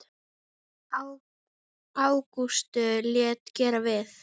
Ágústus lét gera við